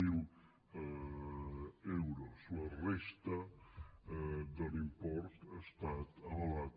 zero euros la resta de l’import ha estat avalat